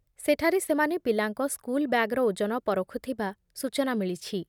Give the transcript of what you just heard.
ସେଠାରେ ସେମାନେ ପିଲାଙ୍କ ସ୍କୁଲ୍ ବ୍ୟାଗର ଓଜନ ପରଖୁଥିବା ସୂଚନା ମିଳିଛି ।